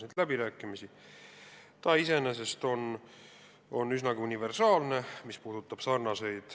See leping iseenesest on üsnagi universaalne.